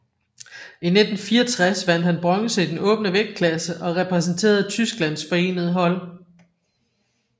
I 1964 vandt han bronze i den åbne vægtklasse og repræsenterede Tysklands forenede hold